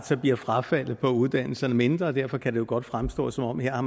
så bliver frafaldet fra uddannelserne mindre og derfor kan det jo godt fremstå som om man har